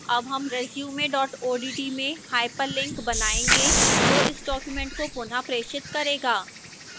अब हम resume odt में hyperlink बनायेंगे जो इस document को पुनःप्रेषित करेगा